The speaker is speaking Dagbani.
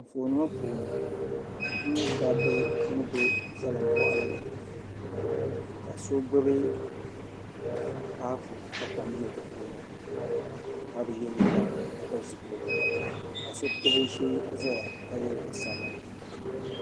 Anfooni ŋɔ puuni n nyɛ dabba ni be salimbɔɣili ni ka so gbubi papu ka kom be di puuni ka bi ye liiga ka pili zipiligu ka so tabi o shee ʒeya ka ye liiga sabinli.